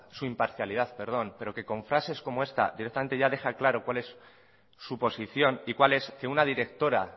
su imparcialidad pero que con frases como esta directamente ya deja claro cuál es su posición y es que una directora